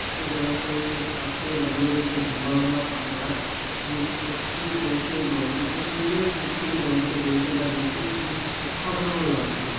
যে জলাশয়ের পশে দাঁড়িয়ে রয়েছে লম্বা লম্বা তালগাছ যে গুলির প্রতিচ্ছবি পড়েছে ওই জলটিতে সূর্যের ও প্রতিছবি জলটিতে পড়েছে তা দেখতেই খুবই অসাধারণ লাগছে।